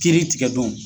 Kiiri tigɛ don